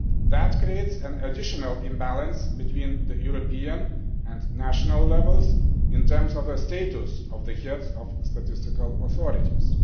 That creates an additional imbalance between the European and national levels, in terms of the status of the heads of Statistical Authorities.